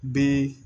Bɛ